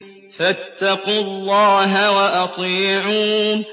فَاتَّقُوا اللَّهَ وَأَطِيعُونِ